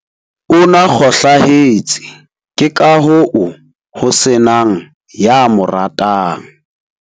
O na kgohlahetse ke ka hoo ho se nang ya mo ratang.